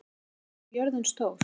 Snærún, hvað er jörðin stór?